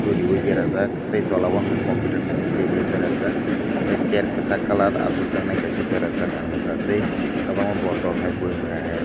riyoe berajak tei tola o hingke computer kaisa tebol o berajak tei chair kesak colour asokjak nai kaisa berajak ang nogkha tei kobangma bottle boyem hai.